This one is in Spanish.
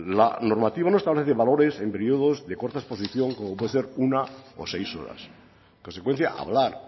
la normativa no establece valores en periodos de corta exposición como puede ser una o seis horas en consecuencia hablar